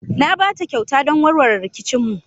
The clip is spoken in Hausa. Na ba ta kyauta don warware rikicinmu.